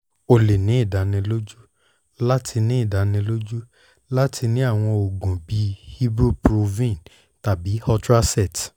o le ni idaniloju lati idaniloju lati ni awọn oogun bii ibuprofen tabi ultracet